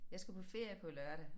Jeg skal på ferie på lørdag